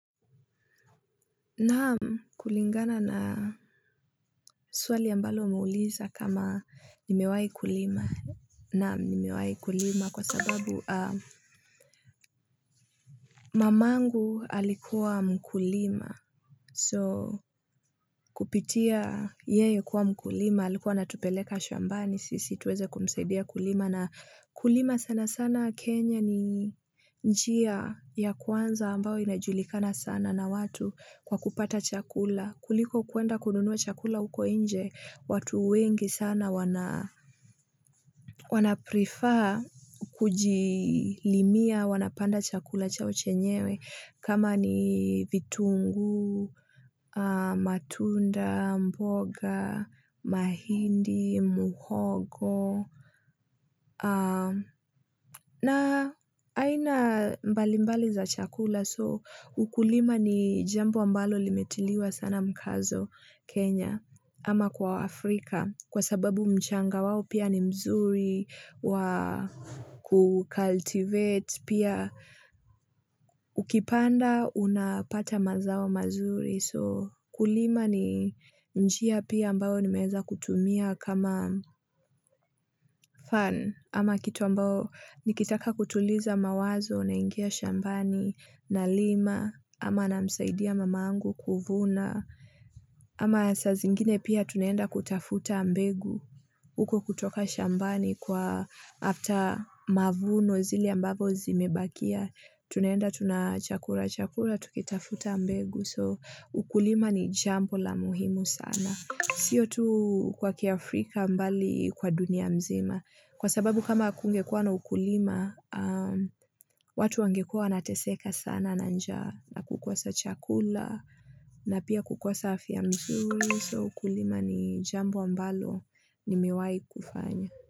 Naam, kulingana na swali ambalo umeuliza kama nimewahi kulima. Naam, nimewai kulima kwa sababu mamangu alikuwa mkulima. So, kupitia yeye kuwa mkulima, alikuwa anatupeleka shambani, sisi tuweze kumsaidia kulima. Na kulima sana sana Kenya ni njia ya kwanza ambayo inajulikana sana na watu kwa kupata chakula. Kuliko kwenda kununua chakula huko nje, watu wengi sana wana prefer kujilimia, wanapanda chakula chao chenyewe kama ni vitunguu, matunda, mboga, mahindi, muhogo. Na aina mbalimbali za chakula so ukulima ni jambo ambalo limetiliwa sana mkazo Kenya ama kwa Afrika kwa sababu mchanga wao pia ni mzuri wa kucaltivate pia ukipanda unapata mazao mazuri. So kulima ni njia pia ambayo nimeweza kutumia kama fun ama kitu ambayo nikitaka kutuliza mawazo naingia shambani nalima ama namsaidia mama angu kuvuna ama saa zingine pia tunaenda kutafuta mbegu uko kutoka shambani kwa after mavuno zile ambazo zimebakia tunaenda tuna chakura chakura tukitafuta mbegu. So ukulima ni jambo la muhimu sana. Siyo tu kwa kiaafrika bali kwa dunia mzima. Kwa sababu kama akungekua na ukulima, watu wangekuwa wanateseka sana na njaa na kukosa chakula na pia kukosa afya mzuri. So ukulima ni jambo ambalo nimewahi kufanya.